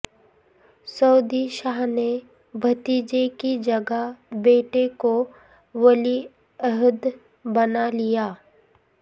سعودی شاہ نے بھتیجے کی جگہ بیٹے کو ولی عہد بنا لیا